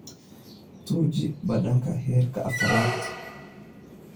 Tuji badhanka herka afrad